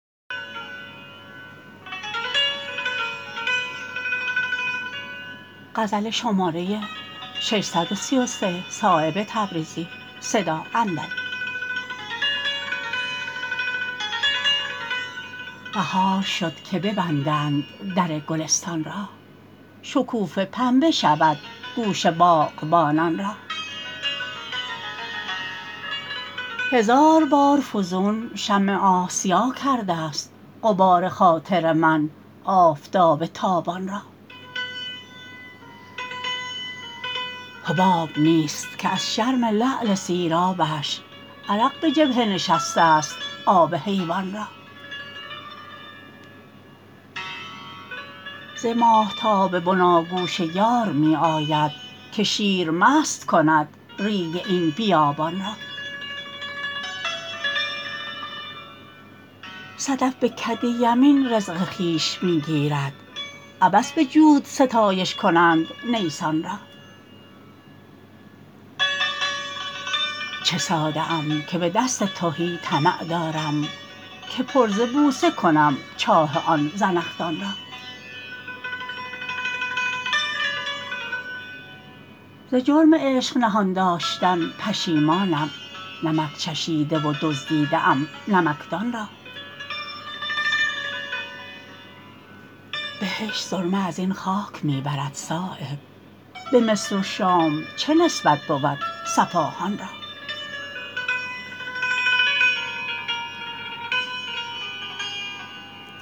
بهار شد که ببندند در گلستان را شکوفه پنبه شود گوش باغبانان را هزار بار فزون شمع آسیا کرده است غبار خاطر من آفتاب تابان را حباب نیست که از شرم لعل سیرابش عرق به جبهه نشسته است آب حیوان را ز ماهتاب بناگوش یار می آید که شیر مست کند ریگ این بیابان را صدف به کد یمین رزق خویش می گیرد عبث به جود ستایش کنند نیسان را چه ساده ام که به دست تهی طمع دارم که پر ز بوسه کنم چاه آن زنخدان را ز جرم عشق نهان داشتن پشیمانم نمک چشیده و دزدیده ام نمکدان را بهشت سرمه ازین خاک می برد صایب به مصر و شام چه نسبت بود صفاهان را